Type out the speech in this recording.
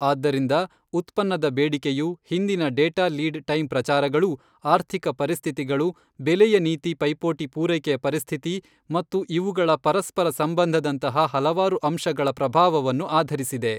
ಆದ್ದರಿಂದ ಉತ್ಪನ್ನದ ಬೇಡಿಕೆಯು ಹಿಂದಿನ ಡೇಟಾ ಲೀಡ್ ಟೈಮ್ ಪ್ರಚಾರಗಳೂ ಆರ್ಥಿಕ ಪರಿಸ್ಥಿತಿಗಳು ಬೆಲೆಯ ನೀತಿ ಪೈಪೋಟಿ ಪೂರೈಕೆಯ ಪರಿಸ್ಥಿತಿ ಮತ್ತು ಇವುಗಳ ಪರಸ್ಪರ ಸಂಬಂಧದಂತಹ ಹಲವಾರು ಅಂಶಗಳ ಪ್ರಭಾವವನ್ನು ಆಧರಿಸಿದೆ.